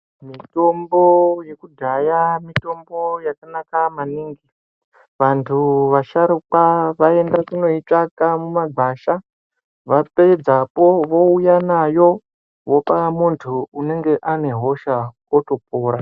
Mitombo yekudhaya mitombo yakanaka maningi .Vantu vasharuka vaienda kunoitsvaka mumagwasha , vapedzapo vouya nayo vopa muntu unenge ane hosha otopora .